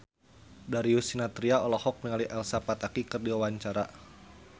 Darius Sinathrya olohok ningali Elsa Pataky keur diwawancara